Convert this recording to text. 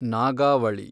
Nagavali